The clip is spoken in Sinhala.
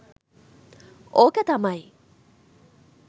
ඕක තමයි.